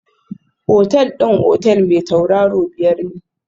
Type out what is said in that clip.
Otal din otel mai tauraro biyar ne?